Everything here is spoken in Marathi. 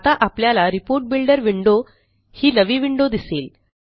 आता आपल्याला रिपोर्ट बिल्डर विंडो ही नवी विंडो दिसेल